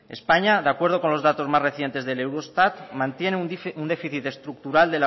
españa de acuerdo con los datos más recientes del eurostat mantiene un déficit estructural